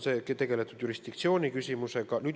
Tegeldud on jurisdiktsiooni küsimusega.